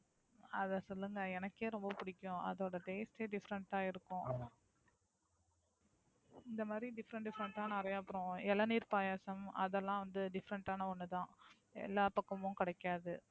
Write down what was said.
அதை சொல்லுங்க எனக்கே ரொம்ப பிடிக்கும் அதோட Taste ஏ Different ஆ இருக்கும். இந்த மாதிரி Different different ஆ நிறைய அப்பறம் இளநீர் பாயாசம் அதெல்லாம் வந்து Different ஆன ஒன்னு தான் எல்லா பக்கமும் கிடைக்காது.